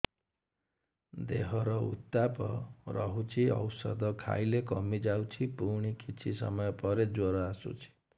ଦେହର ଉତ୍ତାପ ରହୁଛି ଔଷଧ ଖାଇଲେ କମିଯାଉଛି ପୁଣି କିଛି ସମୟ ପରେ ଜ୍ୱର ଆସୁଛି